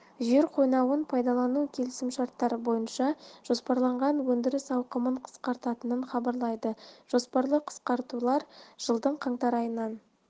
жер қойнауын пайдалану келісімшарттары бойынша жоспарланған өндіріс ауқымын қысқартатынын хабарлайды жоспарлы қысқартулар жылдың қаңтар айынан